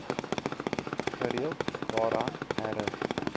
gereeld daaraan herin